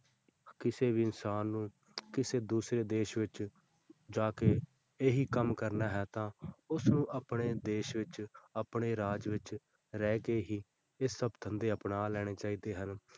ਕਿਸੇ ਵੀ ਇਨਸਾਨ ਨੂੰ ਕਿਸੇ ਦੂਸਰੇ ਦੇਸ ਵਿੱਚ ਜਾ ਕੇ ਇਹੀ ਕੰਮ ਕਰਨਾ ਹੈ ਤਾਂ ਉਸਨੂੰ ਆਪਣੇ ਦੇਸ ਵਿੱਚ ਆਪਣੇ ਰਾਜ ਵਿੱਚ ਰਹਿ ਕੇ ਹੀ ਇਹ ਸਭ ਧੰਦੇ ਅਪਣਾ ਲੈਣੇ ਚਾਹੀਦੇ ਹਨ।